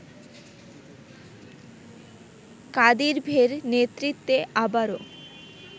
কাদিরভের নেতৃত্বে আবারো